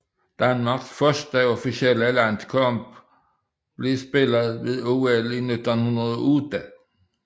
Danmarks første officielle landskamp blev spillet ved OL 1908